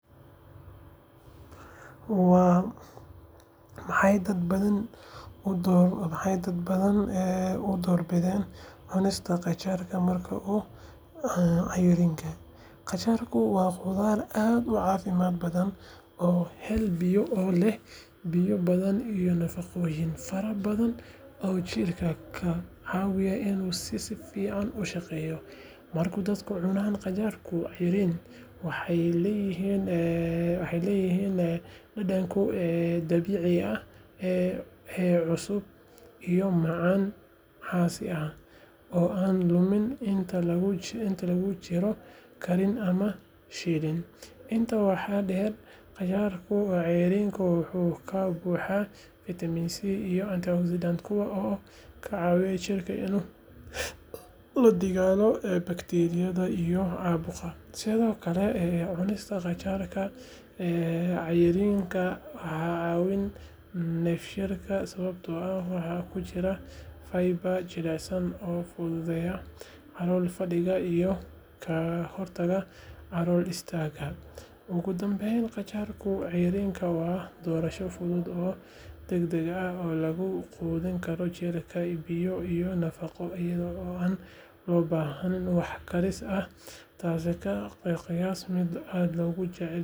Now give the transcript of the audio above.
Maxay dad badani u door bidaan cunista qajaarka marka uu cayriin? Qajaarku waa khudrad aad u caafimaad badan oo leh biyo badan iyo nafaqooyin fara badan oo jirka ka caawiya inuu si fiican u shaqeeyo. Markay dadku cunaan qajaarka cayriin, waxay helayaan dhadhankiisa dabiiciga ah ee cusub iyo macaan xasaasi ah oo aan luminin inta lagu jiro karin ama shiilid. Intaa waxaa dheer, qajaarka cayriin wuxuu ka buuxaa fiitamiin C iyo antioxidants kuwaas oo ka caawiya jirka inuu la dagaallamo bakteeriyada iyo caabuqa. Sidoo kale, cunista qajaarka cayriin waxay caawisaa dheefshiidka sababtoo ah waxa ku jira fiber jilicsan oo fududeynaya calool fadhiga iyo ka hortagga calool istaagga. Ugu dambeyn, qajaarka cayriin waa doorasho fudud oo degdeg ah oo lagu quudin karo jirka biyo iyo nafaqo iyada oo aan loo baahnayn wax karis ah taas oo ka dhigaysa mid aad loogu jecel yahay dadka doonaya cunto caafimaad leh oo fudud.